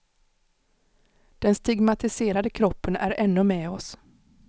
Den stigmatiserade kroppen är ännu med oss.